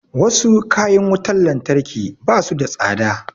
Wasu kayan wutar lantarki ba su da tsada